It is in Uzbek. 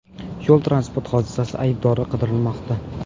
Yo‘l-transport hodisasi aybdori qidirilmoqda.